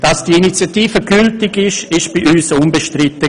Dass die Initiative gültig ist, war bei uns unbestritten.